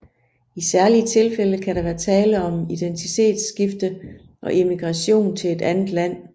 I særlige tilfælde kan der være tale om identitetsskifte og emigration til et andet land